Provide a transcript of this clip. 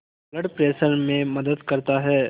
blood pressure में मदद करता है